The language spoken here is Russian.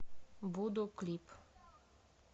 буду клип